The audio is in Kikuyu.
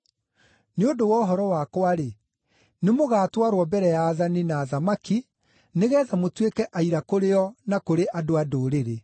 Nĩ ũndũ wa ũhoro wakwa-rĩ, nĩmũgatwarwo mbere ya aathani na athamaki nĩgeetha mũtuĩke aira kũrĩ o na kũrĩ andũ-a-Ndũrĩrĩ.